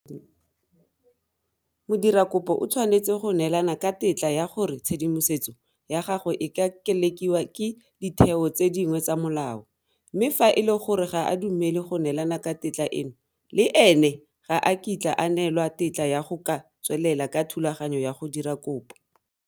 Modirakopo o tshwanetse go neelana ka tetla ya gore tshedimosetso ya gagwe e ka kelekiwa ke ditheo tse dingwe tsa molao mme fa e le gore ga a dumele go neelana ka tetla eno, le ene ga a kitla a neelwa tetla ya go ka tswelela ka thulaganyo ya go dira kopo.